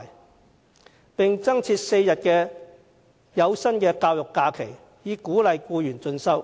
此外，政府應增設4天有薪教育假期，以鼓勵僱員進修。